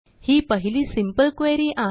ही पहिली simple query आहे